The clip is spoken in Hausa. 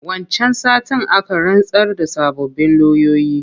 Wancan satin aka rantsar da sababbin loyoyi.